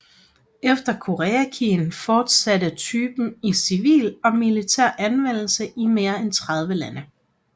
Efter Koreakrigen fotsatte typen i civil og militær anvendelse i mere end 30 lande